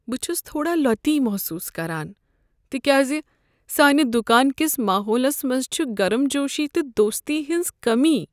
بہٕ چھس تھوڑا لۄتی محسوٗس کران تکیازِ سانہِ دکان کس ماحولس منٛز چھ گرم جوشی تہٕ دوستی ہنٛز کٔمی۔